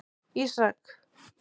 Ísak